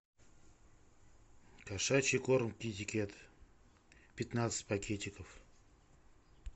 кошачий корм китикет пятнадцать пакетиков